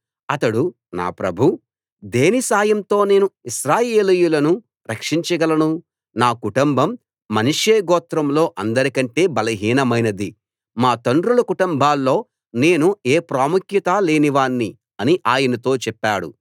అతడు నా ప్రభూ దేని సాయంతో నేను ఇశ్రాయేలీయులను రక్షించగలను నా కుటుంబం మనష్షే గోత్రంలో అందరికంటే బలహీనమైనది మా తండ్రుల కుటుంబాల్లో నేను ఏ ప్రాముఖ్యతా లేనివాణ్ణి అని ఆయనతో చెప్పాడు